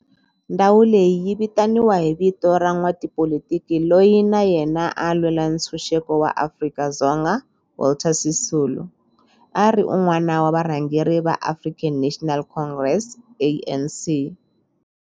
Ndhawo leyi yi vitaniwa hi vito ra n'watipolitiki loyi na yena a lwela ntshuxeko wa maAfrika-Dzonga Walter Sisulu, a ri wun'wana wa varhangeri va African National Congress, ANC.